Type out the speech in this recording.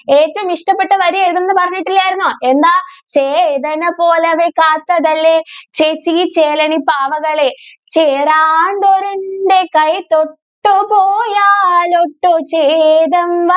ഏറ്റവും ഇഷ്ടപ്പെട്ട വരി ഏതെന്ന് പറഞ്ഞിട്ടില്ലായിരുന്നോ? എന്താ? ചേതന പോലവൾ കാത്തതല്ലേ. ചേച്ചീ ചേലനു പാവകളെ, ചേരാണ്ടൊരു എൻ്റെ കൈ തൊട്ടുപോയാൽ ഒട്ടു ചേതം